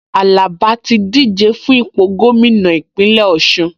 Àlàbá ti díje fún ipò gómìnà Ìpínlẹ̀ Ọ̀ṣun